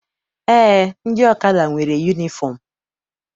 Eé, ndị ọkada nwere yunifọm.